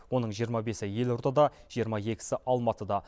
оның жиырма бесі елордада жиырма екісі алматыда